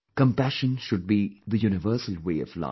Compassion should be the universal way of life